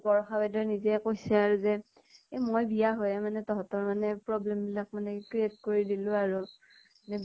বৰষা বাইদেউয়ে নিজে কৈছে আৰু যে মই বিয়া হৈয়ে মানে তহতৰ মানে problem বিলাক মানে create কৰি দিলো আৰু। নে